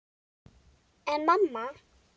En mamma!